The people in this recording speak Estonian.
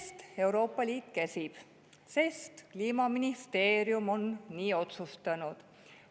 Sest Euroopa Liit käsib, sest Kliimaministeerium on nii otsustanud.